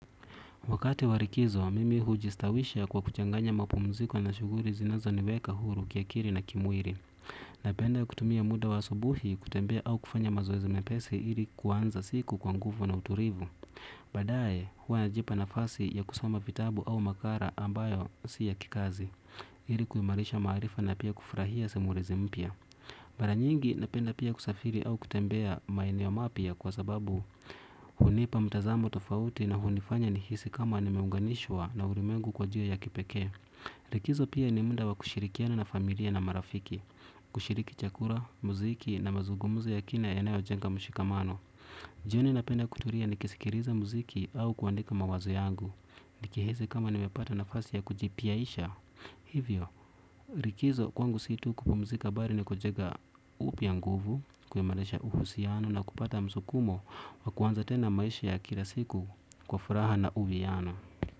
Wakati wa likizo, mimi hujistawisha kwa kuchanganya mapumziko na shughuli zinazo niweka huru kiakili na kimwili. Napenda kutumia muda wa asubuhi kutembea au kufanya mazoezi mepesi ili kuanza siku kwa nguvu na utulivu. Baadaye, huwa najipa nafasi ya kusoma vitabu au makala ambayo si ya kikazi, ili kuimarisha maarifa na pia kufurahia simulizi mpya. Mara nyingi napenda pia kusafiri au kutembea maeneo mapya kwa sababu hunipa mtazamo tofauti na hunifanya nihisi kama nimeunganishwa na ulimengu kwa ajili ya kipeke likizo pia ni muda wa kushirikiana na familia na marafiki. Kushiriki chakula, muziki na mazungumzo ya kina yanaojenga mushikamano. Jioni napenda kutulia nikisikiliza muziki au kuandika mawazo yangu. Nikihisi kama nimepata nafasi ya kujipiaisha hivyo, likizo kwangu si tu kupumzika bali nikujenga upya nguvu kuimarisha uhusiano na kupata msukumo wa kuanza tena maisha ya kila siku kwa furaha na uviana.